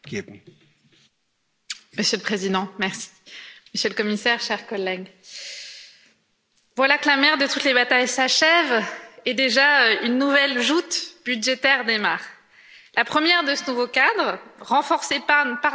Monsieur le Président, Monsieur le Commissaire, chers collègues, voilà que la mère de toutes les batailles s'achève et déjà une nouvelle joute budgétaire démarre, la première de ce nouveau cadre, renforcé par nos soins pas plus tard qu'hier.